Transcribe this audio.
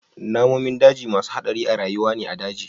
Namun daji masu hadari a rayuwa ne a daji.